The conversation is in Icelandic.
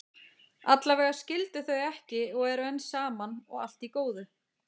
Allavega skildu þau ekki og eru enn saman, og allt í góðu.